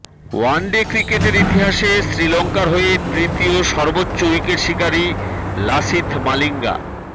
one day ক্রিকেটের ইতিহাসে শ্রীলঙ্কার হয়ে তৃতীয় সর্বোচ্চ উইকেটশিকারি লাসিথ মালিঙ্গা